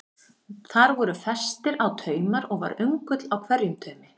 Þar voru festir á taumar og var öngull á hverjum taumi.